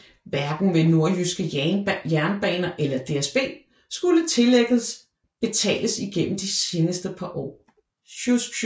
Hverken ved Nordjyske Jernbaner eller DSB skulle tillægget betales igennem de seneste par år